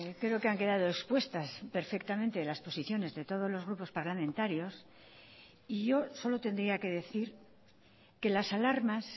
creo que han quedado expuestas perfectamente las posiciones de todos los grupos parlamentarios y yo solo tendría que decir que las alarmas